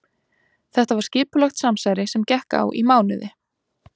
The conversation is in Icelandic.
Þetta var skipulagt samsæri sem gekk á í mánuði.